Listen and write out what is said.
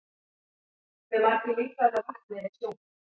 Hve margir lítrar af vatni eru í sjónum?